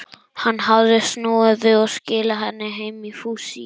Hann hafði snúið við og skilað henni heim í fússi.